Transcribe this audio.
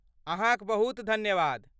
अहाँक बहुत धन्यवाद।